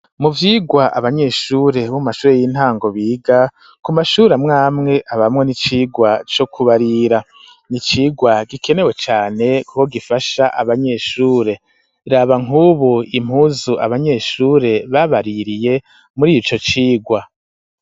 Mu vyigwa abanyeshure b'umashure y'intango biga ,ku mashuramwamwe ,habamwo n'icigwa co kubarira ,nicigwa gikenewe cane ,kuko gifasha abanyeshure, raba nk'ubu impuzu abanyeshure babaririye muri ico cigwa.